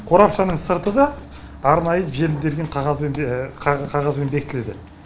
қорапшаның сырты да арнайы желімделген қағазбен қағазбен бекітіледі